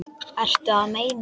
Ertu að meina?